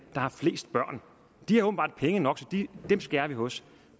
der har flest børn de har åbenbart penge nok så dem skærer vi hos